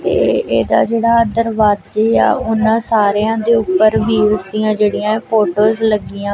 ਤੇ ਏਹਦਾ ਜੇਹੜਾ ਦਰਵਾਜ਼ੇ ਆ ਓਹਨਾ ਸਾਰਿਆਂ ਦੇ ਊਪਰ ਵ੍ਹੀਲਸ ਦਿਆਂ ਜੇਹੜੀਆਂ ਹੈਂ ਫੋਟੋਜ਼ ਲੱਗੀਆਂ।